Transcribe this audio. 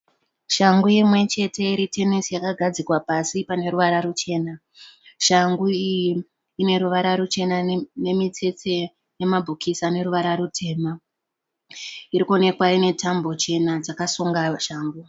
Changu imwe chete iritenese yakagadzikwa pasi paneruvara ruchena. Changu iyi ineruvara ruchene nemitsetse nema bhokisi aneruvara rutema. Irikuwonekwa ine tambo chena dzakasunga shangu.